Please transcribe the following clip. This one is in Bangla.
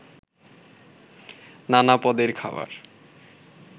নানা পদের খাবার